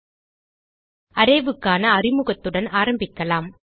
Arrayக்கான அறிமுகத்துடன் ஆரம்பிக்கலாம்